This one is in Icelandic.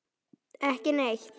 Ekki neitt.